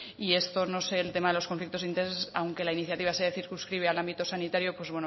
y esto no es el tema de los conflictos de intereses aunque la iniciativa se circunscribe al ámbito sanitario pues